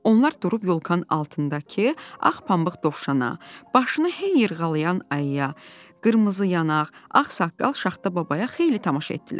Onlar durub yolkanın altındakı ağ pambıq dovşana, başını heyl yırğalayan ayıya, qırmızı yanaq, ağ saqqal Şaxta babaya xeyli tamaşa etdilər.